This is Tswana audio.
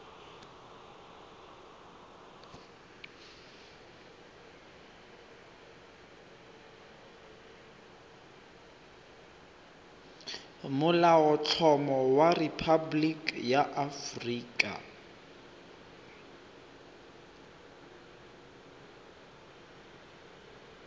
molaotlhomo wa rephaboliki ya aforika